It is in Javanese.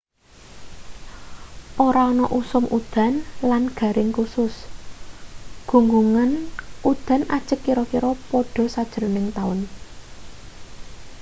ora ana usum udan lan garing kusus gunggungan udan ajeg kira-kira padha sajrone taun